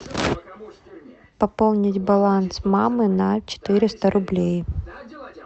пополнить баланс мамы на четыреста рублей